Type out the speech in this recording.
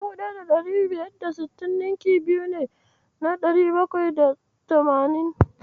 1560 ninki biyu ne na dari bakwai da tamanin.